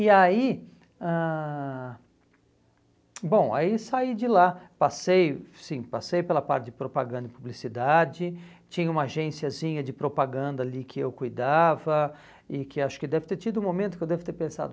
E aí, ãh bom, aí saí de lá, passei, sim, passei pela parte de propaganda e publicidade, tinha uma agênciazinha de propaganda ali que eu cuidava e que acho que deve ter tido um momento que eu deve ter pensado,